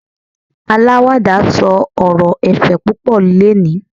alawada sọ ọrọ ẹ̀fẹ̀ púpò leni